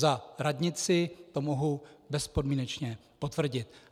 Za radnici to mohu bezpodmínečně potvrdit.